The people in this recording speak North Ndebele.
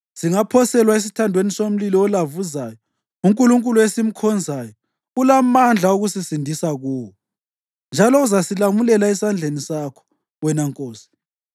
Singaphoselwa esithandweni somlilo olavuzayo, uNkulunkulu esimkhonzayo ulamandla okusisindisa kuwo, njalo uzasilamulela esandleni sakho, wena nkosi.